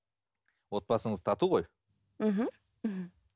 отбасыңыз тату ғой мхм